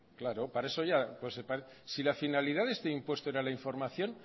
si la finalidad de este impuesto era la información